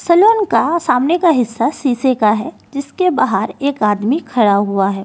का सामने का हिस्सा शीशे का है जिसके बाहर एक आदमी खड़ा हुआ है।